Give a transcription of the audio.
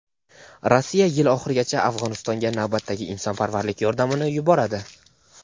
Rossiya yil oxirigacha Afg‘onistonga navbatdagi insonparvarlik yordamini yuboradi.